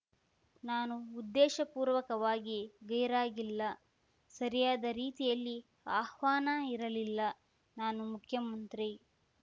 ನಾನು ಉದ್ದೇಶಪೂರ್ವಕವಾಗಿ ಗೈರಾಗಿಲ್ಲ ಸರಿಯಾದ ರೀತಿಯಲ್ಲಿ ಆಹ್ವಾನ ಇರಲಿಲ್ಲ ನಾನು ಮುಖ್ಯಮಂತ್ರಿ